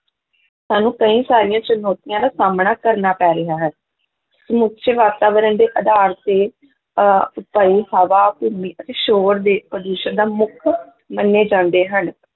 ਸਾਨੂੰ ਕਈ ਸਾਰੀਆਂ ਚੁਣੌਤੀਆਂ ਦਾ ਸਾਹਮਣਾ ਕਰਨਾ ਪੈ ਰਿਹਾ ਹੈ ਸਮੁੱਚੇ ਵਾਤਾਵਰਨ ਦੇ ਆਧਾਰ ਤੇ ਅਹ ਹਵਾ, ਭੂਮੀ ਅਤੇ ਸ਼ੋਰ ਦੇ ਪ੍ਰਦੂਸ਼ਣ ਦਾ ਮੁੱਖ ਮੰਨੇ ਜਾਂਦੇ ਹਨ,